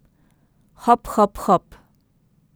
Hop, hop, hop ...